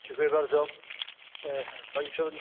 Pani Przewodnicząca, Panie Komisarzu!